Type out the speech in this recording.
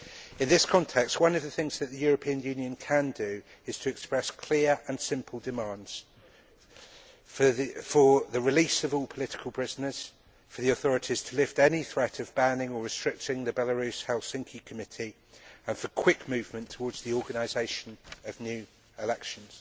In this context, one of the things that the European Union can do is to express clear and simple demands for the release of all political prisoners, for the authorities to lift any threat of banning or restricting the Belarusian Helsinki Committee, and for quick movement towards the organisation of new elections.